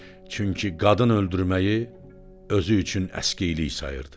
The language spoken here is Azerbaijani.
Çünki qadın öldürməyi özü üçün əskilik sayırdı.